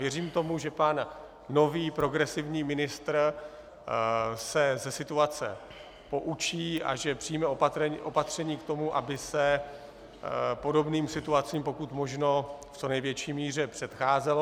Věřím tomu, že pan nový progresivní ministr se ze situace poučí a že přijme opatření k tomu, aby se podobným situacím pokud možno v co největší míře předcházelo.